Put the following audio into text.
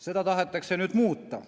Seda tahetakse nüüd muuta.